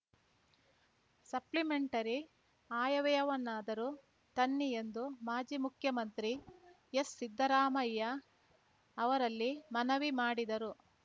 supplementary ಆಯವ್ಯಯವನ್ನಾದರೂ ತನ್ನಿ ಎಂದು ಮಾಜಿ ಮುಖ್ಯಮಂತ್ರಿ ಎಸ್‌ಸಿದ್ದರಾಮಯ್ಯ ಅವರಲ್ಲಿ ಮನವಿ ಮಾಡಿದರು